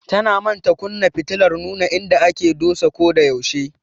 Tana manta kunna fitilar nuna inda aka dosa ko da yaushe.